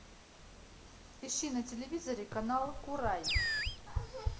ищи на телевизоре канал курай